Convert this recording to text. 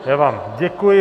Já vám děkuji.